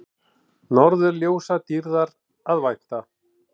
Norðurljósadýrðar að vænta